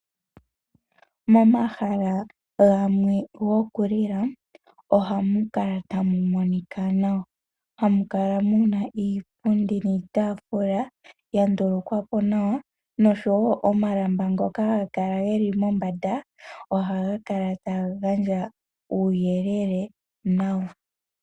Momahala gamwe gokulila ohamu kala tamu monika nawa, hamu kala muna iipundi niitaafula ya ndulukwa po nawa, noshowo omalamba ngoka haga kala geli mombanda ohaga kala taga gandja uuyelele nawa.